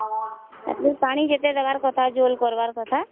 ତା ପରେ ପାଣି ଯେତେଦେବାର କଥା ଝୋଳ କରିବା କଥା